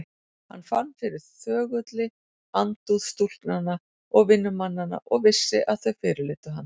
Hann fann fyrir þögulli andúð stúlknanna og vinnumannanna og vissi að þau fyrirlitu hann.